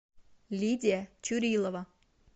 лидия чурилова